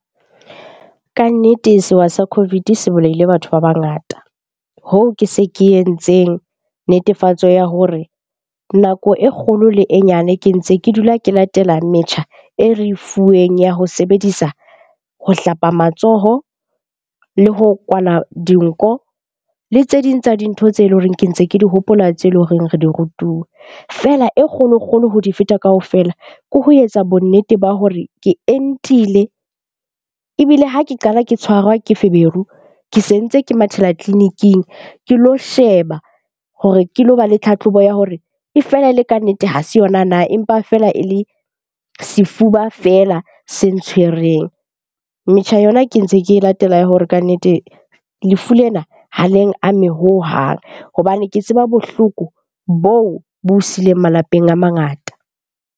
Kannete sewa sa COVID se bolaile batho ba bangata. Hoo ke se ke entseng netefatso ya hore nako e kgolo le e nyane ke ntse ke dula ke latela metjha e re e fuweng ya ho sebedisa ho hlapa matsoho, le ho kwala dinko le tse ding tsa dintho tse leng hore ke ntse ke di hopola tseo e leng hore re di rutuwe. Feela e kgolo-kgolo ho di feta kaofela ke ho etsa bonnete ba hore ke entile ebile ha ke qala ke tshwara ke feberu, ke se ntse ke mathela tleleniking. Ke lo sheba hore ke lo ba le tlhatlhobo ya hore e fela e le kannete ha se yona na? Empa feela e le sefuba fela se ntshwereng. Metjha yona ke ntse ke latela ya hore kannete lefu lena ha leng ame hohang hobane ke tseba bohloko boo bo sileng malapeng a mangata.